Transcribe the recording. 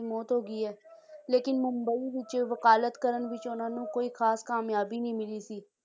ਦੀ ਮੌਤ ਹੋ ਗਈ ਹੈ ਲੇਕਿੰਨ ਮੁੰਬਈ ਵਿੱਚ ਵਕਾਲਤ ਕਰਨ ਵਿੱਚ ਉਹਨਾਂ ਨੂੰ ਕੋਈ ਖਾਸ ਕਾਮਯਾਬੀ ਨਹੀਂ ਮਿਲੀ ਸੀ